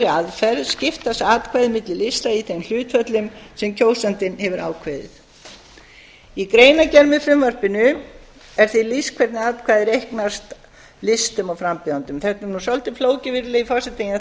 aðferð skiptast atkvæðin milli lista í þeim hlutföllum sem kjósandinn hefur ákveðið í greinargerð með frumvarpinu er því lýst hvernig atkvæði reiknast listum og frambjóðendum virðulegi forseti þetta er nú svolítið flókið en ég ætla